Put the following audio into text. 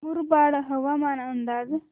मुरबाड हवामान अंदाज